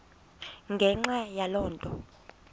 ngenxa yaloo nto